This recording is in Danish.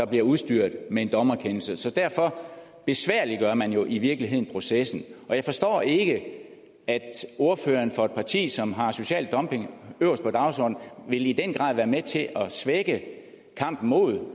bliver udstyret med en dommerkendelse så derfor besværliggør man jo i virkeligheden processen og jeg forstår ikke at ordføreren for et parti som har social dumping øverst på dagsordenen i den grad vil være med til at svække kampen mod